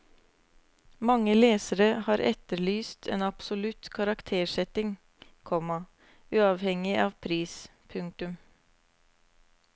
Mange lesere har etterlyst en absolutt karaktersetting, komma uavhengig av pris. punktum